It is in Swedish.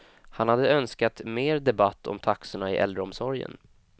Han hade önskat mer debatt om taxorna i äldreomsorgen.